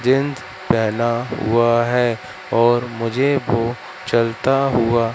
jeans पहना हुआ है और मुझे वो चलता हुआ--